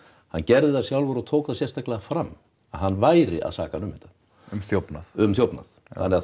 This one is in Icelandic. hann gerði það sjálfur og tók það sérstaklega fram að hann væri að saka hann um þetta um þjófnað um þjófnað já